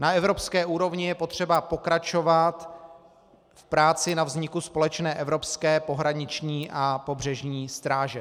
Na evropské úrovni je potřeba pokračovat v práci na vzniku společné evropské pohraniční a pobřežní stráže.